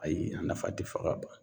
Ayi a nafa te fɔ ka ban.